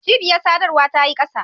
Cibiyar sadarwa ta yi kasa.